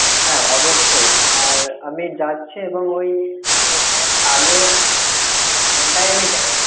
হ্যা, অবশ্যই আর আমি যাচ্ছি এবং ওই OPPO র কালো phone টাই আমি নেবো।